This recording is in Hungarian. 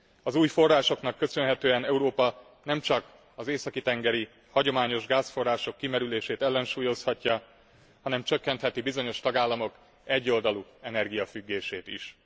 Az új forrásoknak köszönhetően Európa nemcsak az északi tengeri hagyományos gázforrások kimerülését ellensúlyozhatja, hanem csökkenheti bizonyos tagállamok egyoldalú energiafüggését is.